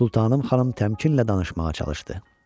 Sultanım xanım təmkinlə danışmağa çalışdı.